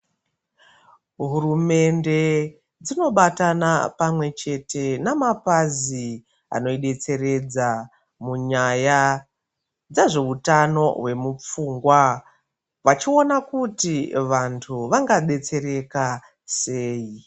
Hurumende dzinobatana pamwechete nemapazi ano detseredza munyaya dzezveutano hwemupfungwa vachiona kuti vanhu vangadetsereka sei?